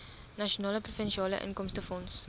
nasionale provinsiale inkomstefonds